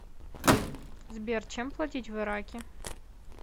сбер чем платить в ираке